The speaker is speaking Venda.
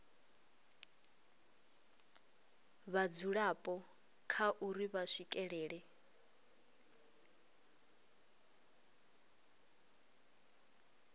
vhadzulapo kha uri vha swikelela